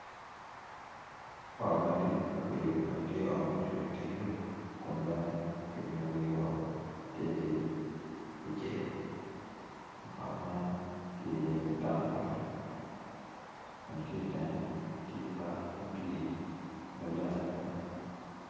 Ot madit makiyubo dok tye ot ma ocung i teng yo kun bene kiumo wiye woko tye ki icel ot man tye i ye ki tong gweno kun ki itenge tye yat ma otwi maleng adada.